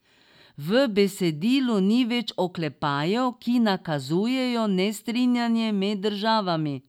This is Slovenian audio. V besedilu ni več oklepajev, ki nakazujejo nestrinjanje med državami.